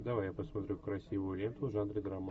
давай я посмотрю красивую ленту в жанре драма